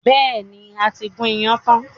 Bẹ́ẹ̀ni, a ti gún iyán tán.